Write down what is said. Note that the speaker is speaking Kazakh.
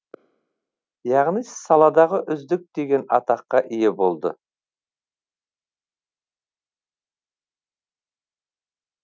яғни саладағы үздік деген атаққа ие болды